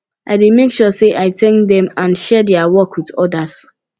i dey make sure say i thank dem and share dia work with odas